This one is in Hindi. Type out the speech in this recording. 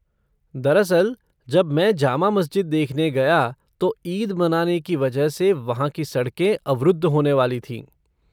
दरअसल, जब मैंने जामा मस्जिद देखने गया तो ईद मनाने की वजह से वहाँ की सड़कें अवरुद्ध होने वाली थीं।